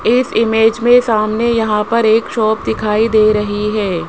इस इमेज मे सामने यहां पर एक शॉप दिखाई दे रही है।